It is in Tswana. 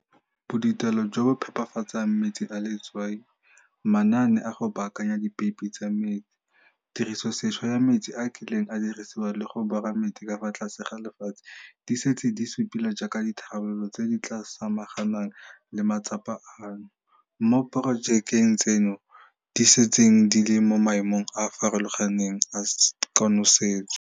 Bodutelo jo bo phepafatsang metsi a letswai, manaane a go baakanya dipeipi tsa metsi, tirisosešwa ya metsi a a kileng a dirisiwa le go bora metsi ka fa tlase ga lefatshe di setse di supilwe jaaka ditharabololo tse di tla samaganang le matsapa ano, moo diporojeke tseno di setseng di le mo maemong a a farologaneng a konosetso.